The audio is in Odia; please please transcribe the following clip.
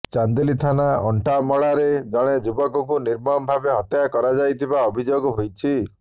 ଚାନ୍ଦିଲି ଥାନା ଅଣ୍ଟାମଡ଼ାରେ ଜଣେ ଯୁବକକୁ ନିର୍ମମ ଭାବେ ହତ୍ୟା କରାଯାଇଥିବା ଅଭିଯୋଗ ହୋଇଛି